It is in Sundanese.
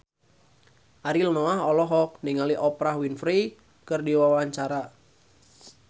Ariel Noah olohok ningali Oprah Winfrey keur diwawancara